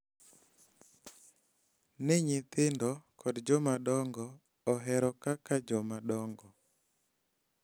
Ni nyithindo kod jomadongo ohero kaka jomadongo.